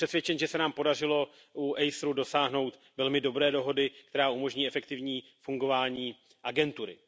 A jsme přesvědčen, že se nám podařilo u agentury ACER dosáhnout velmi dobré dohody, která umožní efektivní fungování agentury.